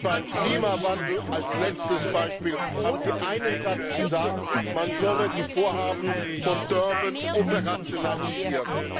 Und beim Klimawandel als letztem Beispiel haben Sie einen Satz gesagt Man solle die Vorhaben von Durban operationalisieren.